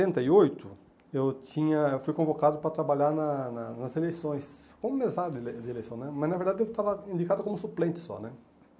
e oito eu tinha fui convocado para trabalhar na na nas eleições, como mesário de ele de eleição né, mas, na verdade, eu estava indicado como suplente só né.